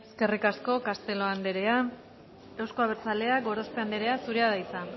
eskerrik asko castelo andrea euzko abertzaleak gorospe andrea zurea da hitza